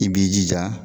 I b'i jija